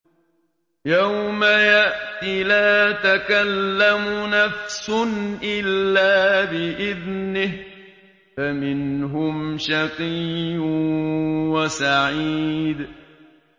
يَوْمَ يَأْتِ لَا تَكَلَّمُ نَفْسٌ إِلَّا بِإِذْنِهِ ۚ فَمِنْهُمْ شَقِيٌّ وَسَعِيدٌ